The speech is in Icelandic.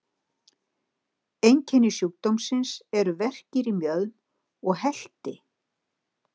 Einkenni sjúkdómsins eru verkir í mjöðm og helti.